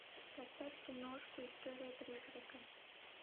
поставь киношку история призрака